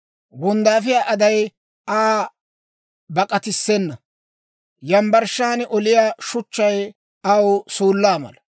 Wonddaafiyaa aday Aa bak'atissena; yambbarshshan oliyaa shuchchaykka aw suullaa mala.